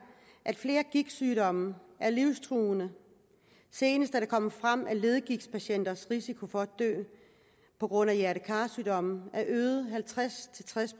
at flere gigtsygdomme er livstruende senest er det kommet frem at leddegigtpatienters risiko for at dø på grund af hjerte kar sygdomme er øget halvtreds til tres